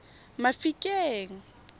mafikeng